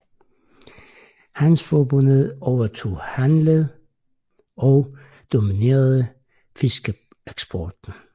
Hanseforbundet overtog handel og dominerede fiskeeksporten